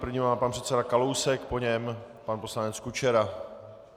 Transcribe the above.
První má pan předseda Kalousek, po něm pan poslanec Kučera.